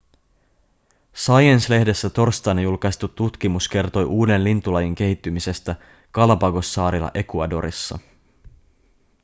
science-lehdessä torstaina julkaistu tutkimus kertoi uuden lintulajin kehittymisestä galapagossaarilla ecuadorissa